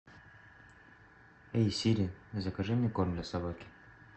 эй сири закажи мне корм для собаки